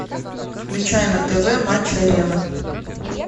включай на тв матч арена